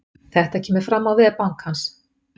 Þetta kemur fram á vef bankans